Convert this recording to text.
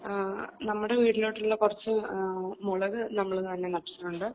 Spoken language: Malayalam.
ആ നമ്മുടെ വീട്ടിലോട്ടുള്ള കുറച്ച് മുളക് നമ്മൾ തന്നെ നട്ടിട്ടുണ്ട്